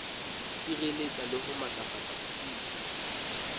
sireletsa le ho matlafatsa botsebi